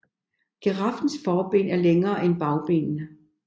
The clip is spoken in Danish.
Giraffens forben er længere end bagbenene